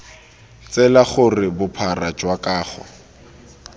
tsela gore bophara jwa kago